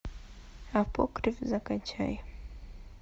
апокриф закачай